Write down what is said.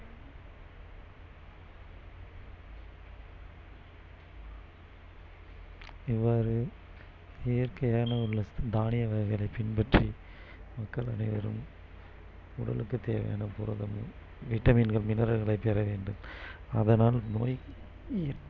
இவ்வாறு இயற்கையான உள்ள தானிய வகைகளை பின்பற்றி மக்கள் அனைவரும் உடலுக்கு தேவையான புரதம் vitamin கள் mineral களை பெற வேண்டும் அதனால் நோய் இற்~